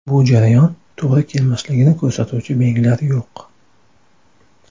Bu jarayon to‘g‘ri kelmasligini ko‘rsatuvchi belgilar yo‘q.